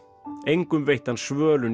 engum veitti hann svölun